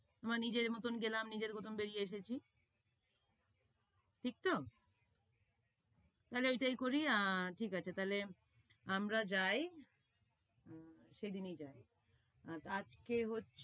আমরা নিজের মতন গেলাম, নিজের মতন বেরিয়ে এসেছি, ঠিক তো? তাইলে ওটাই করি। আর ঠিক আছে, তাইলে আমরা যাই, সেদিনই যাই, আজকে হচ্ছে